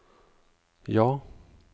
ja